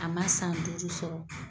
A ma san duuru sɔrɔ